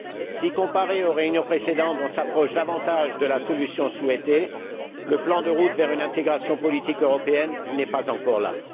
Si, par rapport aux réunions précédentes, on s'approche davantage de la solution souhaitée, la feuille de route vers une intégration politique européenne n'est pas encore là.